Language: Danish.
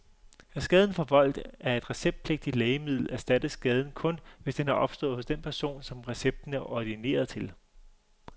Er skaden forvoldt af et receptpligtigt lægemiddel erstattes skaden kun, hvis den er opstået hos den person, som recepten er ordineret til.